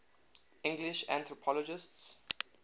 english anthropologists